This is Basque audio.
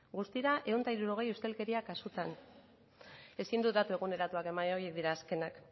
guztira ehun eta hirurogei ustelkeria kasutan ezin dut datu eguneratuak eman horiek dira azkenak